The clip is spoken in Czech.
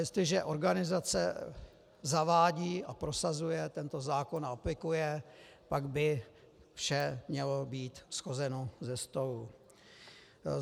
Jestliže organizace zavádí a prosazuje tento zákon a aplikuje, pak by vše mělo být shozeno ze stolu.